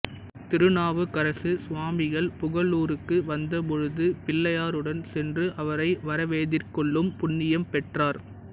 திருநாவுக்கரசு சுவாமிகள் புகலூருக்கு வந்த போழுது பிள்ளையாருடன் சென்று அவரை வரவெதிர்கொள்ளும் புண்ணியம் பெற்றார்